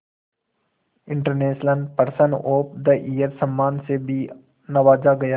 international person of the year सम्मान से भी नवाजा गया